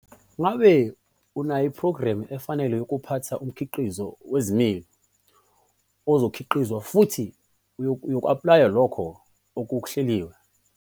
Ngabe unephrogramu efanele yokuphatha umkhiqizo wezilimo ozikhiqizayo futhi uyaku-aplaya lokho okuhleliwe?